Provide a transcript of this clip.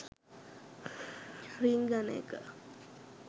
රිංගන එක